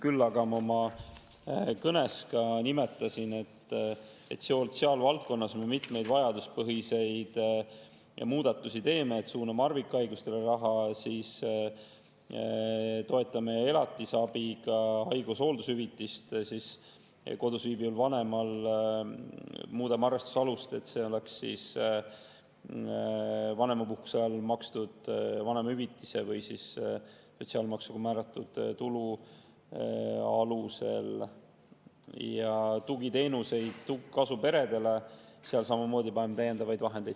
Küll aga ma kõnes ka nimetasin, et selles valdkonnas me teeme mitmeid vajaduspõhiseid muudatusi: suuname harvikhaiguste raha, toetame elatisabiga, muudame kodus viibiva vanema haigus- ja hooldushüvitise puhul arvestuse alust, et seda makstaks vanemapuhkuse ajal vanemahüvitise või sotsiaalmaksuga määratud tulu alusel, ja kasuperede tugiteenustele selle riigieelarvega samamoodi täiendavaid vahendeid.